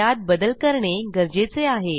त्यात बदल करणे गरजेचे आहे